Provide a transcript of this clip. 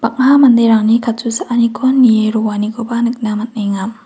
bang·a manderangni katsuaaniko nie roanikoba nikna man·enga.